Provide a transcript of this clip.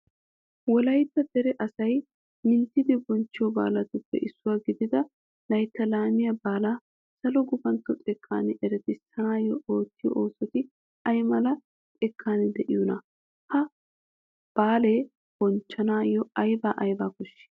Wolaytta dere asay minttidi bonchchiyo baalatuppe issuwa gidida layttaa laamiya baalaa salo gufantto xekkan eretissanawu oottiyo oosoti ay mala xekkan de'iyonaa? Ha baalaa bonchchanawu aybaa aybaa koshshii?